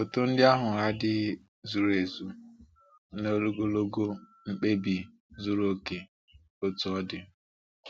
Foto ndị ahụ adịghị zuru ezu n’ogologo mkpebi zuru oke, otú ọ dị.